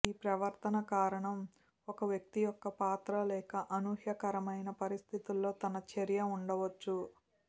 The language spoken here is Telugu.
ఈ ప్రవర్తన కారణం ఒక వ్యక్తి యొక్క పాత్ర లేదా అసహ్యకరమైన పరిస్థితుల్లో తన చర్య ఉండవచ్చు